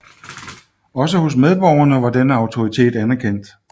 Også hos medborgere var denne autoritet anerkendt